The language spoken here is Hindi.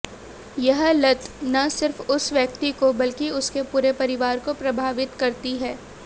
यह लत न सिर्फ उस व्यक्ति को बल्कि उसके पूरे परिवार को प्रभावित करती है